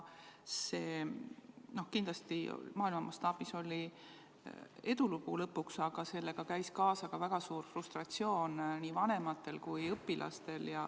See kindlasti maailma mastaabis oli lõpuks edulugu, aga sellega käis kaasas ka väga suur frustratsioon nii vanematel kui õpilastel.